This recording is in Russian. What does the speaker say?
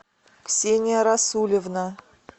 ксения расулевна